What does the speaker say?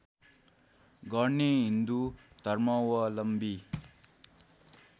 गर्ने हिन्दू धर्मावलम्बी